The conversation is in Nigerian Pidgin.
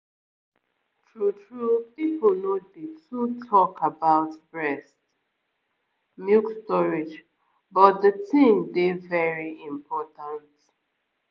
true-true people no dey too talk about breast milk storage but the thing dey very important